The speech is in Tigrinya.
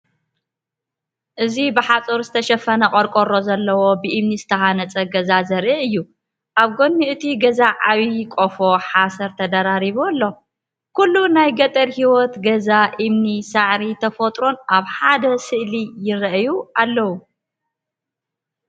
እዚ ብሓጺን ዝተሸፈነ ቆርቆሮ ዘለዎ ብእምኒ ዝተሃንጸ ገዛ ዘርኢ እዩ። ኣብ ጎኒ እቲ ገዛ ዓቢ ቆፎ ሓሰር ተደራሪቡ ኣሎ። ኩሉ ናይ ገጠር ህይወት! ገዛ እምኒ፡ ሳዕርን ተፈጥሮን ኣብ ሓደ ስእሊ ይረኣዩ ኣለው።